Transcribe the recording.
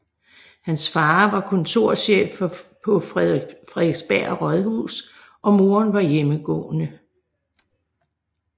Hans far var kontorchef på Frederiksberg Rådhus og moren var hjemmegående